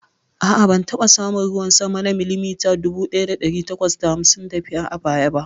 A'a, ban taɓa samun ruwan sama na milimita dubu ɗaya ɗari takwas da hamsin da biyar a baya ba.